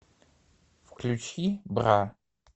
включи бра